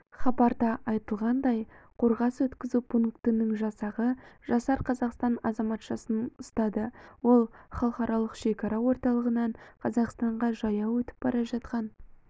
хабарда айтылғандай қорғас өткізу пунктінің жасағы жасар қазақстан азаматшасын ұстады ол халықаралық шекара орталығынан қазақстанға жаяу өтіп бара жатқан